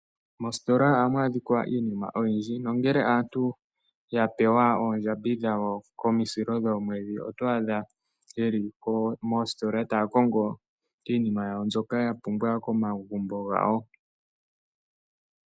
Mositola ohamu adhika iinima oyindji nongele aantu ya pewa oondjambi dhawo komisilo dhoomwedhi oto adha ye li moositola taya kongo iinima yawo mbyoka ya pumbwa komagumbo gawo.